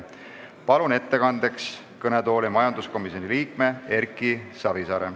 Palun ettekandeks kõnetooli majanduskomisjoni liikme Erki Savisaare.